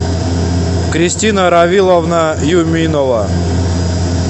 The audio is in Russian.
кристина равиловна юминова